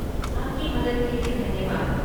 आपकी मदद के लिए धन्यवाद।